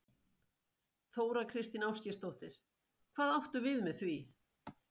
Þóra Kristín Ásgeirsdóttir: Hvað áttu við með því?